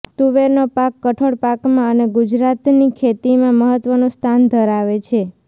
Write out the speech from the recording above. તુવેરનો પાક કઠોળ પાકોમાં અને ગુજરાતની ખેતીમાં મહત્વનું સ્થાન ધરાવે છે